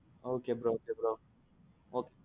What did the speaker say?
ok bro okay bro.